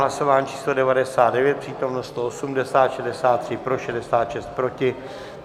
Hlasování číslo 99, přítomno 180, 63 pro, 66 proti.